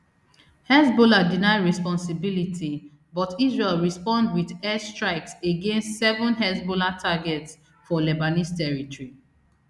hezbollah deny responsibility but israel respond wit air strikes against seven hezbollah targets for lebanese territory